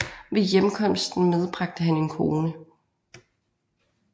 Ved hjemkomsten medbragte han en kone